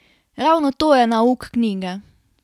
Ravno to je nauk knjige.